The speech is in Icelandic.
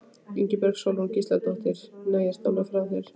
Ingibjörg Sólrún Gísladóttir: Nei, ertu alveg frá þér?